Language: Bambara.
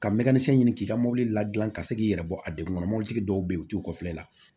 Ka mɛtiri ɲini k'i ka mobili la dilan ka se k'i yɛrɛ bɔ a degun kɔnɔ mɔbilitigi dɔw bɛ yen u t'u kɔfilɛ